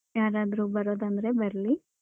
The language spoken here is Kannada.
ಯಾರಾದ್ರೂ ಬರೋದಾದ್ರೆ ಬರ್ಲಿ.